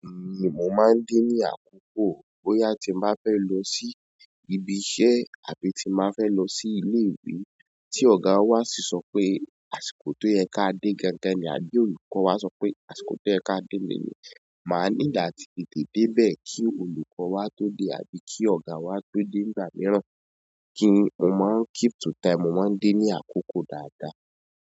Èmi mo máa ń dé ní àkókò. Bóyá tí mo bá fẹ́ lọ sí ibi iṣẹ́ àbí tí mo bá fẹ́ lọ sí ilé ìwé tí ọ̀gá wà sí sọ pé àsìkò tó yẹ ká dé gan-an ni, àbí olùkọ́ wà sọ pé àsìkò tó yẹ ká dé ni yìí, máa ní láti tètè dé bẹ́ẹ̀ kí olùkọ́ wà tó dé àbí kí ọ̀gá wà tó dé nígbà míìrán. Kí ni o máa ń keep to time? Mo máa ń dé ní àkókò dáadáa.